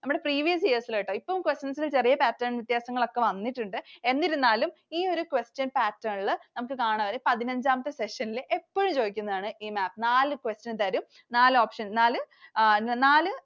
നമ്മുടെ previous years ൽ ട്ടോ. ഇപ്പൊ questions ൽ ചെറിയ pattern വ്യത്യാസങ്ങളൊക്കെ വന്നിട്ടുണ്ട്. എന്നിരുന്നാലും ഈ ഒരു question pattern ൽ നമുക്ക് കാണാം ഒരു പതിനഞ്ചാമത്തെ section ൽ എപ്പഴും ചോദിക്കുന്നതാണ് ഈ map. നാല് question തരും. നാല് option നാല്, നാല്